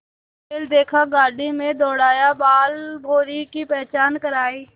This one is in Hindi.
बैल देखा गाड़ी में दौड़ाया बालभौंरी की पहचान करायी